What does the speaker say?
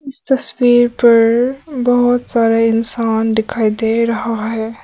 इस तस्वीर पर बहोत सारा इंसान दिखाई दे रहा है।